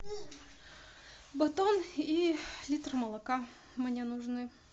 батон и литр молока мне нужны